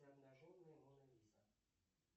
обнаженная мона лиза